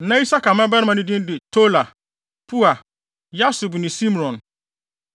Na Isakar mmabarima baanan no din de Tola, Pua, Yasub ne Simron.